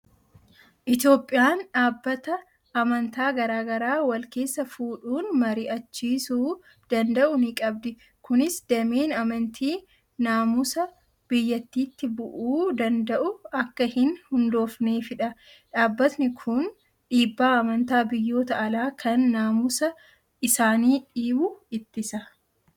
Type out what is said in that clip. Itoophiyaan dhaabatta amantaa garaa garaa wal keessa fuudhuun marii'achiisuu danda'u ni qabdi. Kunis dameen amantii naamusa biyyattiitti bu'uu danda'u akka hin hundoofneefidha. Dhaabbatni kun dhiibbaa amantaa biyyoota alaa kan naamusa isaanii dhiibu ittisa.